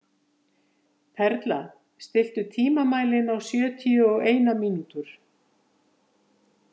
Perla, stilltu tímamælinn á sjötíu og eina mínútur.